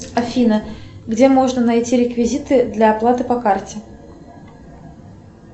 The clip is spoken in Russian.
афина где можно найти реквизиты для оплаты по карте